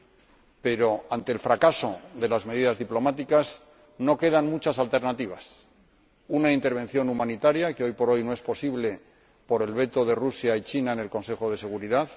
Sin embargo, ante el fracaso de las medidas diplomáticas, no quedan muchas alternativas una intervención humanitaria, que hoy por hoy no es posible por el veto de Rusia y de China en el Consejo de Seguridad